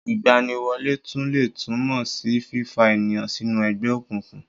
Ìgbaniwọlé tún lè tún mó sí fífa ènìyàn sínú ẹgbẹ́ òkùnkùn